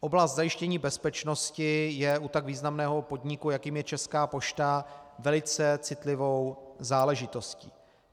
Oblast zajištění bezpečnosti je u tak významného podniku, jakým je Česká pošta, velice citlivou záležitostí.